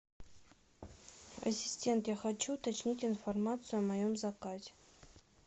ассистент я хочу уточнить информацию о моем заказе